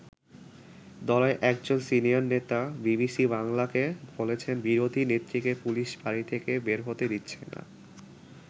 দলের একজন সিনিয়র নেতা বিবিসি বাংলাকে বলেছেন বিরোধী নেত্রীকে পুলিশ বাড়ি থেকে বের হতে দিচ্ছে না।